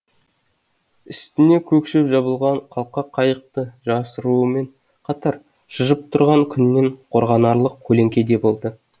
үстіне көк шөп жабылған қалқа қайықты жасырумен қатар шыжып тұрған күннен қорғанарлық көлеңке де болды